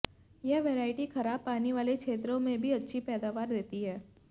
यह वैरायटी खराब पानी वाले क्षेत्रों में भी अच्छी पैदावार देती है